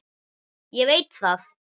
Ég veit það